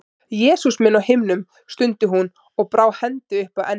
Jesús minn á himnum, stundi hún og brá hendi upp að enni.